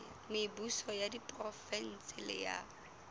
mebuso ya diprovense le ya